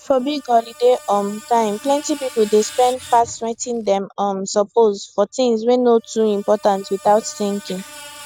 for big holiday um time plenty people dey spend pass wetin dem um suppose for things wey no too important without thinking